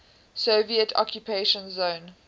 soviet occupation zone